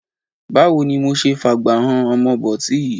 Báwo ni mo ṣe fágbà han ọmọ bọ̀tí yìí?